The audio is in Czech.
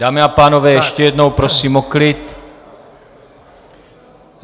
Dámy a pánové, ještě jednou prosím o klid.